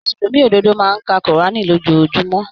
Mùsùlùmí ododo máa n ka kurani lójoojúmó.